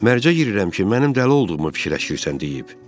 Mərcə girirəm ki, mənim dəli olduğumu fikirləşirsən deyib.